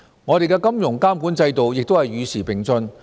我們的金融監管制度亦與時並進。